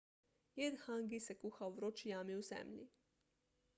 jed hangi se kuha v vroči jami v zemlji